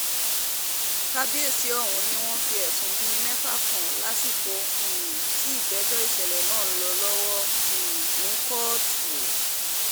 kábíyèsí ọ̀hún ni wọ́n fi ẹ̀sùn bíi mẹ́fà kan lásìkò um tí ìgbẹ́jọ́ ìṣẹ̀lẹ̀ náà ń lọ lọ́wọ́ um ní kóòtù